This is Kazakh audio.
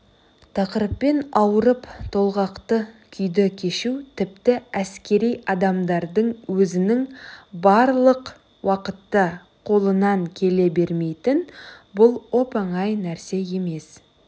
тақырыппен ауырып толғақты күйді кешу тіпті әскери адамдардың өзінің барлық уақытта қолынан келе бермейді бұл оп-оңай нәрсе емес